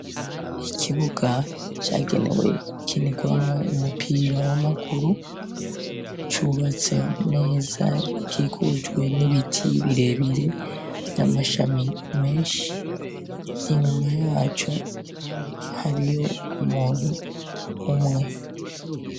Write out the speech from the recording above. Ikibuga cagenewe gukinirwamwo umupira w'amaguru ucubatse neza gikikujwe n'ibiti birebire vy'amashami menshi inyuma yaco hariyo umuntu umwe.